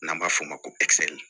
N'an b'a f'o ma ko